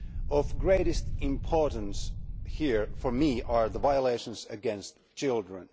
Of greatest importance here for me are the violations against children.